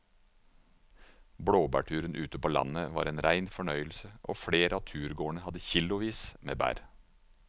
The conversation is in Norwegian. Blåbærturen ute på landet var en rein fornøyelse og flere av turgåerene hadde kilosvis med bær.